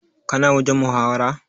Ka na wajen muhawara?